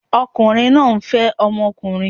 Ọkùnrin náà ń fẹ́ ọmọkùnrin